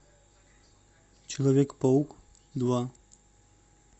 человек паук два